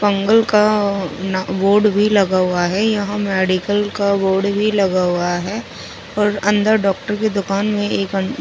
का आ ना वोर्ड भी लगा हु है यहाँ मेडिकल का बोर्ड भी लगा हुआ है और अंदर डॉक्टर की दूकान में एक अ पेशेंट --